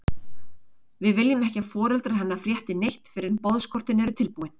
Við viljum ekki að foreldrar hennar frétti neitt fyrr en boðskortin eru tilbúin.